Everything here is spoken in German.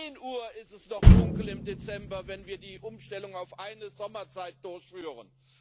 Um zehn Uhr ist es noch dunkel im Dezember, wenn wir die Umstellung auf eine Sommerzeit durchführen.